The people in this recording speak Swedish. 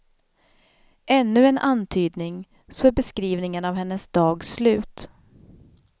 Ännu en antydning, så är beskrivningen av hennes dag slut.